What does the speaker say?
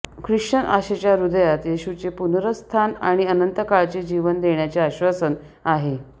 Christian आशेच्या हृदयात येशूचे पुनरुत्थान आणि अनंतकाळचे जीवन देण्याचे आश्वासन आहे